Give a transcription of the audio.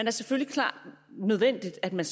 er selvfølgelig nødvendigt at man